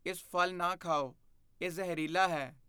ਇਸ ਫ਼ਲ ਨਾ ਖਾਓ। ਇਹ ਜ਼ਹਿਰੀਲਾ ਹੈ।